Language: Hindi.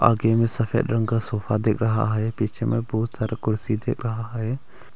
आगे में सफेद रंग का सोफा दिख रहा है पीछे में बहुत सारे कुर्सी दिख रहा है।